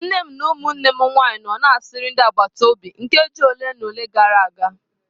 Nne m na ụmụnne m nwanyị nọ na-asịrị ndị agbata obi nkeji ole na ole gara aga.